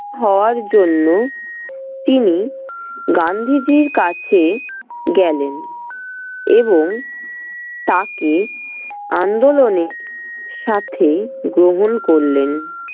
হওয়ার জন্য তিনি গান্ধীজির কাছে গেলেন এবং তাকে আন্দোলনে সাথে গ্রহণ করলেন।